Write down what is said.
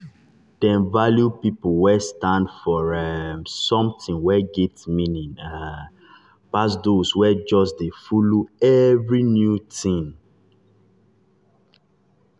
dem value people wey stand for um something wey get meaning um pass those wey just dey follow every new thing. um